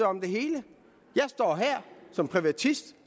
om det hele jeg står her som privatist